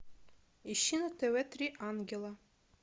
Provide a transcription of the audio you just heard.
ищи на тв три ангела